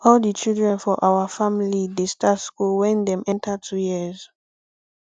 all di children for our family dey start school wen dem enter 2 years